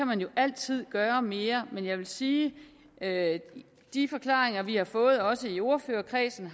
man jo altid gøre mere men jeg vil sige at de forklaringer vi har fået også i ordførerkredsen